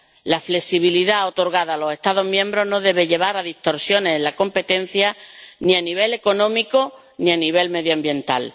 La flexibilidad otorgada a los Estados miembros no debe llevar a distorsiones en la competencia, ni a nivel económico ni a nivel medioambiental.